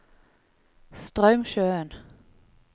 Straumsjøen